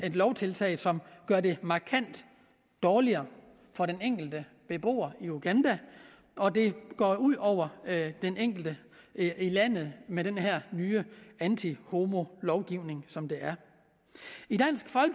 et lovtiltag som gør det markant dårligere for den enkelte beboer i uganda og det går ud over den enkelte i landet med den her nye antihomolovgivning som det er